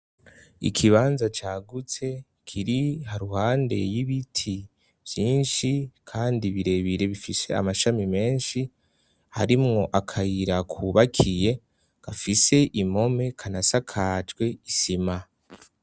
Ikibanza cagutse kiri ruhande y'ibiti vyinshi kandi birebire bifise amashami menshi harimwo akayira kubakiye gafise impome kanasakajwe isima.